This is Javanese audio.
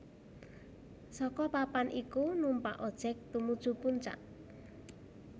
Saka papan iku numpak ojek tumuju puncak